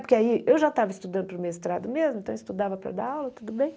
Porque aí eu já estava estudando para o mestrado mesmo, então eu estudava para dar aula, tudo bem.